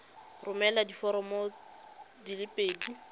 romela diforomo di le pedi